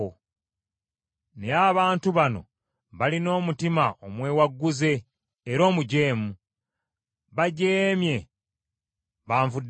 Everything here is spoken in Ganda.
Naye abantu bano balina omutima omwewagguze era omujeemu. Bajeemye banvuddeko.